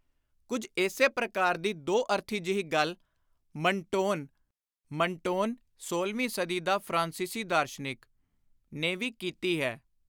ਕੁਝ ਇਸੇ ਪ੍ਰਕਾਰ ਦੀ ਦੋ-ਅਰਥੀ ਜਿਹੀ ਗੱਲ ਮਨਟੋਨ (Montaigne-ਮਨਟੇਨ-ਸੋਲ੍ਹਵੀਂ ਸਦੀ ਦਾ ਫ਼ਰਾਂਸੀਸੀ ਦਾਰਸ਼ਨਿਕ) ਨੇ ਵੀ ਕੀਤੀ ਹੈ।